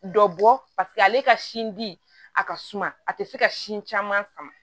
Dɔ bɔ paseke ale ka sin di a ka suma a tɛ se ka sin caman sama